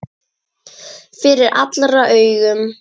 Fyrir allra augum!